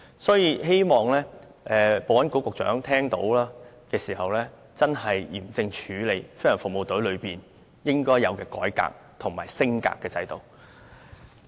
所以，我希望保安局局長聽到後，會嚴正處理飛行服務隊應有的改革和升格的制度。